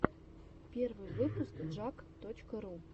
первый выпуск джаг точка ру